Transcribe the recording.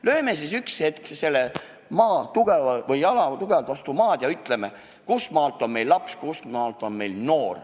Toetame siis üks hetk jalad tugevalt vastu maad ja ütleme, kuhumaani on inimene laps, kustmaalt on inimene noor.